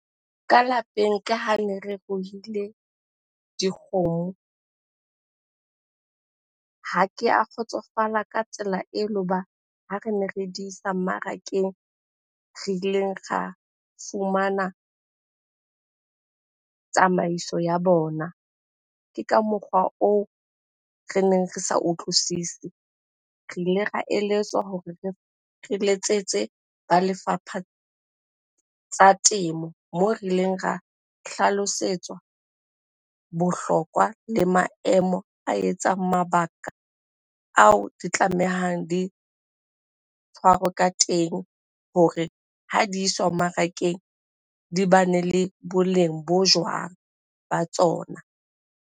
Ka lapeng ke hane re ruile dikgomo. Ha ke a kgotsofala ka tsela ele hoba ha rene re di isa mmarakeng re ileng ra fumana tsamaiso ya bona. Ke ka mokgwa oo reneng re sa utlwisise. Re ile ra eletswa hore re letsetse ba lefapha la tsa temo moo re ileng ra hlalosetswa bohlokwa le maemo a etsang mabaka ao di tlamehang di tshwarwe ka teng hore ha di iswa mmarakeng di bane le boleng bo jwang ba tsona.